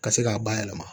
Ka se k'a bayɛlɛma